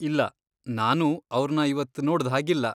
ಇಲ್ಲ, ನಾನೂ ಅವ್ರ್ನ ಇವತ್ತ್ ನೋಡ್ದ್ಹಾಗಿಲ್ಲ.